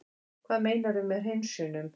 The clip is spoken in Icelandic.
Hvað meinarðu með hreinsunum?